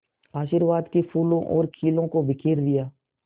आशीर्वाद के फूलों और खीलों को बिखेर दिया